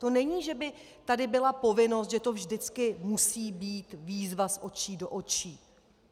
To není, že by tady byla povinnost, že to vždycky musí být výzva z očí do očí.